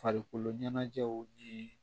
Farikolo ɲɛnajɛw ye